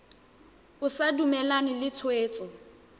o sa dumalane le tshwetso